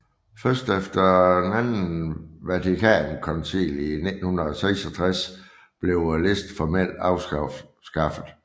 Først efter Andet Vatikankoncil i 1966 blev listen formelt afskaffet